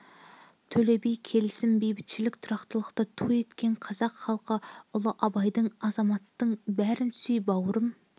төле би келісім бейбітшілік тұрақтылықты ту еткен қазақ халқы ұлы абайдың адамзаттың бәрін сүй бауырым